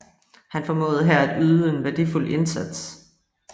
Han formåede her at yde en værdifuld indsats